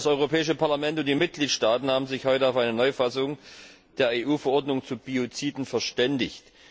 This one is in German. Das Europäische Parlament und die Mitgliedstaaten haben sich heute auf eine Neufassung der EU Verordnung zu Bioziden verständigt.